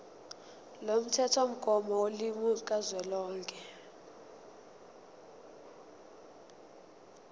lomthethomgomo wolimi kazwelonke